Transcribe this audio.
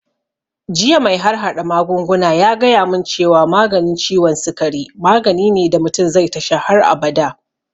Jiya mai harhaɗa magunguna ya gaya mun cewa maganin ciwon sikari magani ne da mutum zai tasha har abada